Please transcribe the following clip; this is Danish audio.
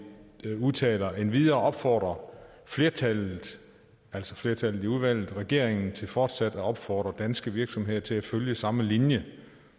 udtaler endvidere opfordrer flertallet altså flertallet i udvalget regeringen til fortsat at opfordre danske virksomheder til at følge samme linje